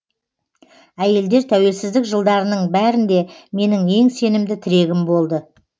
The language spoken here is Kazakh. әйелдер тәуелсіздік жылдарының бәрінде менің ең сенімді тірегім болды